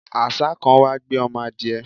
àṣá kan wá gbé ọmọ adiẹ